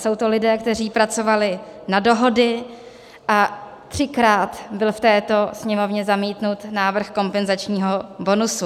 Jsou to lidé, kteří pracovali na dohody, a třikrát byl v této Sněmovně zamítnut návrh kompenzačního bonusu.